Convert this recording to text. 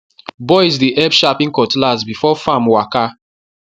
boys dey help sharpen cutlass before farm waka